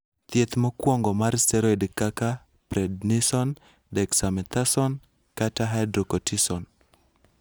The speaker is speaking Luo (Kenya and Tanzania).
Thieth mokwongo mar steroid kaka prednisone, dexamethasone, kata hydrocortisone.